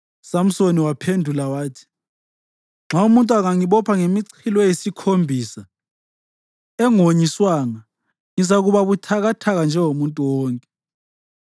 USamsoni waphendula wathi, “Nxa umuntu angangibopha ngemichilo eyisikhombisa engonyiswanga, ngizakuba buthakathaka njengomuntu wonke.”